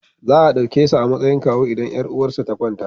Za a ɗauke shi a matsayin kawu idan 'yar uwarsa ta kwanta.